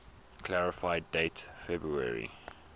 clarify date february